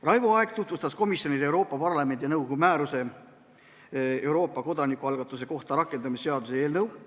Raivo Aeg tutvustas komisjonile Euroopa Parlamendi ja nõukogu määruse "Euroopa kodanikualgatuse kohta" rakendamise seaduse eelnõu.